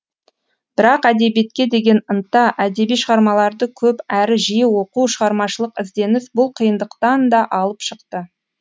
бірақ әдебиетке деген ынта әдеби шығармаларды көп әрі жиі оқу шығармашылық ізденіс бұл қиындықтан да алып шықты